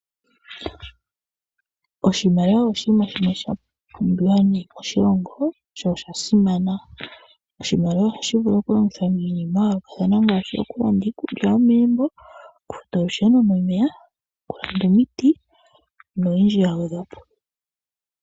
Oshimaliwa oshiima shimwe shapumbiwa nayi moshilongo sho osha simana, oshimaliwa oha shi vulu oku longithwa miinima ya yoolokathana ngaashi okulanda iikulya yomegumbo, oku futa olusheno nomeya, oku landa omiti noyindji ya gwedhwapo.